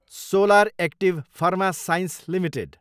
solar active pharma science Ltd